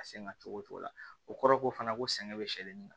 A sen ka cogo o cogo la o kɔrɔ ko fana ko sɛgɛn bɛ sɛgɛn nin na